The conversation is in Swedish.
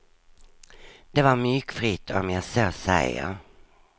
Det var myggfritt, om jag så säger.